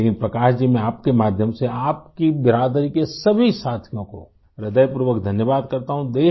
لیکن پرکاش جی میں آپکے توسط سے آپکی برادری کے سبھی ساتھیوں کا دل کی گہرائیوں سے شکریہ ادا کرتا ہوں